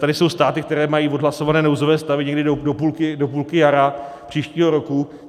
Tady jsou státy, které mají odhlasované nouzové stavy někdy do půlky jara příštího roku.